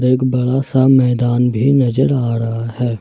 एक बड़ा सा मैदान भी नजर आ रहा है।